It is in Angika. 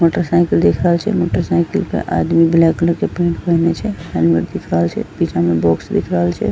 मोटर साइकिल दिख रहल छै मोटर साइकिल के आदमी ब्लैक कलर के पेंट पहिरने छै हेलमेट दिख रहल छै पीछा मे बाॅक्स दिख रहल छै।